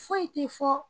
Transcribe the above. Foyi tɛ fɔ